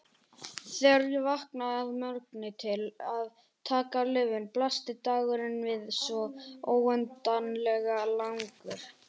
Þegar ég vaknaði að morgni til að taka lyfin blasti dagurinn við svo óendanlega langur.